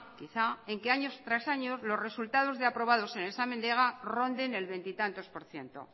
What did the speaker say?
en año tras año los resultados de aprobados en el examen del ega ronden el veintitantos por cierto